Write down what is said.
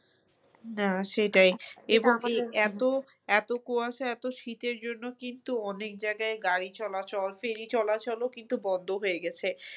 হ্যাঁ সেটাই এর মধ্যে এত এত কুয়াশা এত শীতের জন্য কিন্তু অনেক জায়গায় গাড়ি চলাচল ferry চলাচল ও কিন্তু বন্ধ হয়ে গেছে।